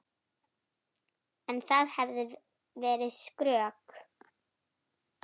En það hefði verið skrök.